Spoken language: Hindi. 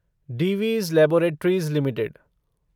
Divi's laboratories limited